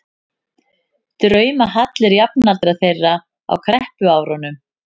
draumahallir jafnaldra þeirra á kreppuárunum.